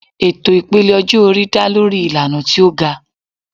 Ètò ìpele ọjọ́-orí dá lórí ìlànà tí ó ga.